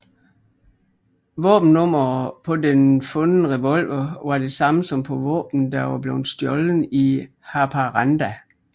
Våbennummeret på den fundre revolver var det samme som på våbnet der var blevet stjålet i Haparanda